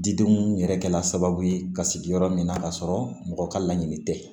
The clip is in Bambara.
Didenw yɛrɛ kɛla sababu ye ka sigi yɔrɔ min na k'a sɔrɔ mɔgɔ ka laɲini tɛ